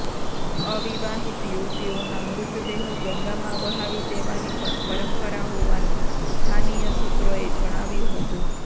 અવિવાહિત યુવતીઓના મૃતદેહો ગંગામાં વહાવી દેવાની પણ પરંપરા હોવાનું સ્થાનિય સૂત્રોએ જણાવ્યું હતું